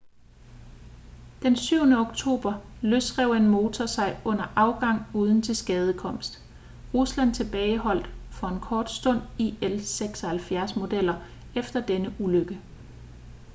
den 7. oktober løsrev en motor sig under afgang uden tilskadekomst. rusland tilbageholdt for en kort stund il-76-modeller efter denne ulykke